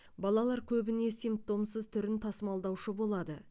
балалар көбіне симптомсыз түрін тасымалдаушы болады